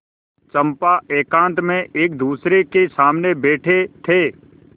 चंपा एकांत में एकदूसरे के सामने बैठे थे